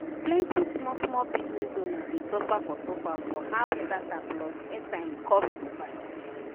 plenti small small business owner dey suffer for suffer for how data plus airtime cost to buy.